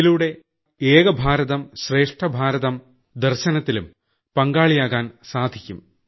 ഇതിലൂടെ ഏകഭാരതം ശ്രേഷ്ഠഭാരതം ദർശനത്തിലും പങ്കാളിയാകാൻ സാധിയ്ക്കും